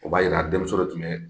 O b'a jira denmuso de tun ye